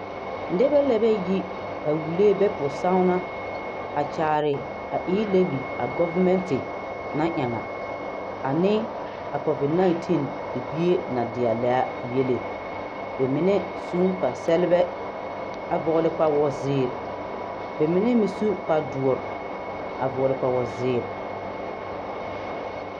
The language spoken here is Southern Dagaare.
Nibɛ lɛbɛ yi a wulee bɛ pusagnaa a kyaare a e levy a gɔvinente na ɛngaa a ne a covid 19 libie na dieaa lɛɛaa yele bɛ mine sun kparre sɛglebɛ a vɔgle kpawozeere bɛ mine mi su kparedoɔre a vɔgle kpawozeere.